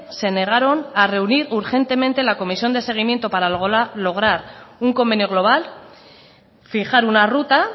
se negaron a reunir urgentemente la comisión de seguimiento para lograr un convenio global fijar una ruta